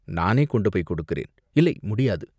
நானே கொண்டுபோய்க் கொடுக்கிறேன், இல்லை முடியாது